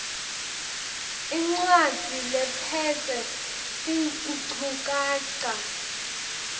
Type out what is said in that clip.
incwadzi lephetse tinchukaca